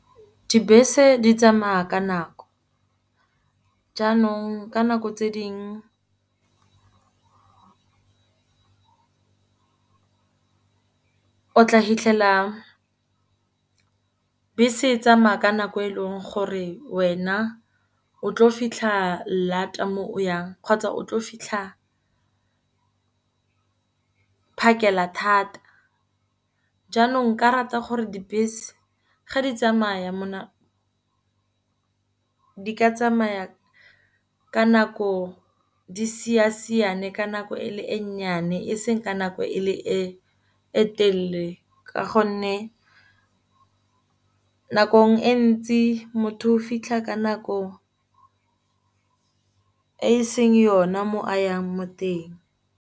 Dibese di tsamaya ka nako, jaanong ka nako tse dingwe o tla fitlhela bese e tsamaya ka nako eleng gore wena o tlo fitlha lata mo o yang. Kgotsa o tlo fitlha phakela thata, jaanong nka rata gore dibese ga di tsamaya di ka tsamaya ka nako, di siasiane ka nako e le e nnyane eseng ka nako e le e telele. Ka gonne nakong e ntsi motho fitlha ka nako e seng yone mo a yang mo teng.